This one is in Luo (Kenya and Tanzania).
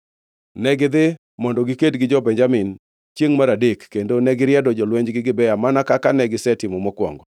Negidhi mondo giked gi jo-Benjamin chiengʼ mar adek kendo negiriedo jolwenjgi Gibea mana kaka negisetimo mokwongo.